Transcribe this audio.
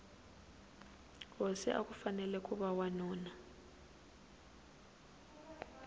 hosi akufanele kuva wanuna